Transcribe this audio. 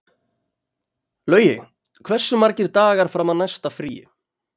Laugi, hversu margir dagar fram að næsta fríi?